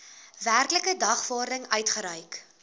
werklike dagvaarding uitgereik